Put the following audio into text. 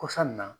Kɔsa in na